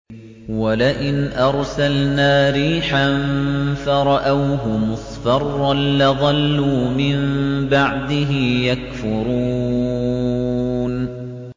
وَلَئِنْ أَرْسَلْنَا رِيحًا فَرَأَوْهُ مُصْفَرًّا لَّظَلُّوا مِن بَعْدِهِ يَكْفُرُونَ